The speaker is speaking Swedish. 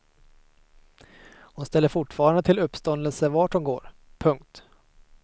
Hon ställer fortfarande till uppståndelse vart hon går. punkt